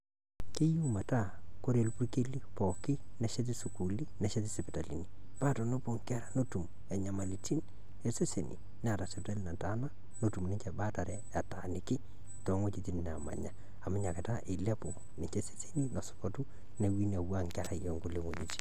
Keyieu metaa kore irpukeli pooki, nesheti sukuuluni, nesheti sipitalini, paa tenepuao Enkera netum Inyamalitin eseseni Neeta sipitali nataana netum ninche baatare etaaniki toweujitin naamanya amu ena Kata eilepu eseseni lesotua neeku meing'ua Enkerai engolong'u